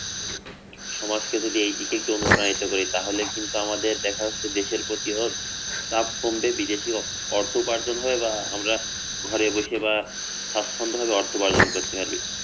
সমাজকে যদি এদিকে একটু অণুপ্রাণিত করি তাহলে কিন্তু আমাদের দেখা যাচ্ছে দেশের প্রতিও চাপ কমবে, বিদেশী অর্থ উপার্জন হবে বা আমরা ঘরে বসে বা স্বাচ্ছন্দভাবে অর্থ উপার্জন করতে পারি